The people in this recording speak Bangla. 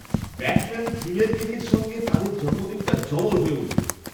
ব্যাটম্যান থিমের কেকের সঙ্গে তাদের জন্মদিনটা জবর হয়ে উঠবে!